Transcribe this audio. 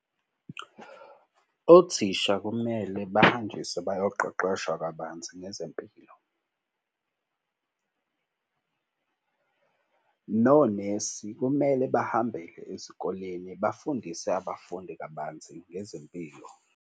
Othisha kumele bahanjiswe bayaqeqeshwa kabanzi ngezempilo. Nonesi kumele bahambele ezikoleni bafundise abafundi kabanzi ngezempilo.